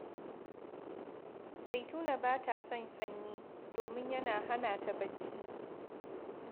Zaituna ba ta son sanyi, domin yana hana ta barci